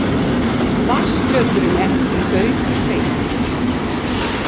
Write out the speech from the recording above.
Vatnsflöturinn er því daufur spegill.